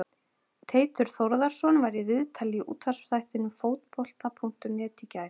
Teitur Þórðarson var í viðtali í útvarpsþættinum Fótbolta.net í gær.